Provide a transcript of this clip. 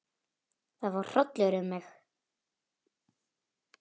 Það fór hrollur um mig.